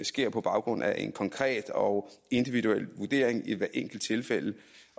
sker på baggrund af en konkret og individuel vurdering i hvert enkelt tilfælde